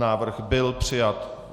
Návrh byl přijat.